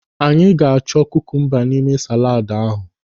Anyị ga-achọ kukumba n'ime saladu ahụ.